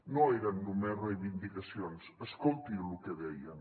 no eren només reivindicacions escolti lo que deien